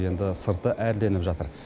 енді сырты әрленіп жатыр